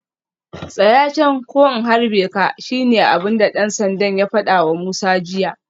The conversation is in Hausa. Tsaya can ko in harbe ka shine abinda dan sandan ya fadawa Musa jiya